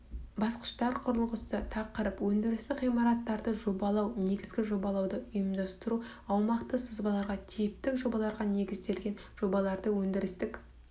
басқыштар құрылғысы тақырып өндірістік ғимараттарды жобалау негізі жобалауды ұйымдастыру аумақты сызбаларға типтік жобаларға негізделген жобаландыру өндірістік